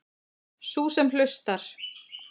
Sú sem hlustar.